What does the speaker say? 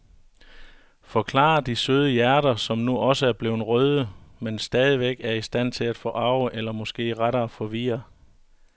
Forklarer de søde hjerter, som nu også er blevet røde, men stadigvæk er i stand til at forarge eller måske rettere forvirre.